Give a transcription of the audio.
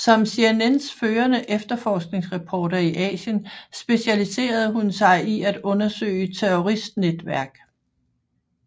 Som CNNs førende efterforskningsreporter i Asien specialiserede hun sig i at undersøge terroristnetværk